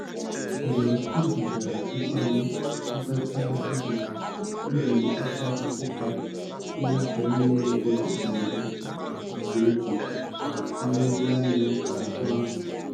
Mgbe ojichara mkpali zụtachaa ihe, o jiri ịkwa ụta tinye aka n'ime ego mberede nke o ji nlezianya chekwaa.